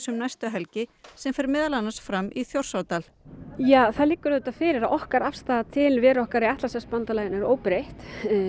um næstu helgi sem fer meðal annars fram í Þjórsárdal það liggur auðvitað fyrir að okkar afstaða til veru okkar í Atlantshafsbandalaginu er óbreytt